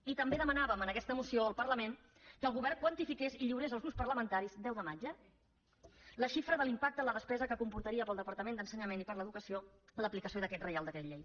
i també demanàvem en aquesta moció el parlament que el govern quantifiqués i lliurés als grups parlamentaris deu de maig eh la xifra de l’impacte en la despesa que comportaria per al departament d’ensenyament i per a l’educació l’aplicació d’aquest reial decret llei